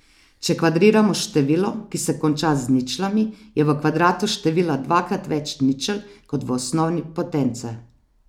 Če kvadriramo število, ki se konča z ničlami, je v kvadratu števila dvakrat več ničel kot v osnovi potence.